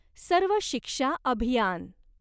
सर्व शिक्षा अभियान